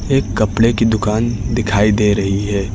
एक कपड़े की दुकान दिखाई दे रही है।